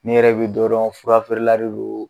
Ne yɛrɛ bɛ dɔn furafeerela de do